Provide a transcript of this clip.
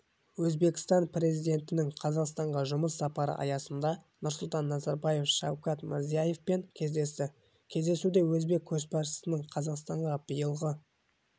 өзбекстан президентінің қазақстанға жұмыс сапары аясында нұрсұлтан назарбаев шавкат мирзиевпен кездесті кездесуде өзбек көшбасшысының қазақстанға биылғы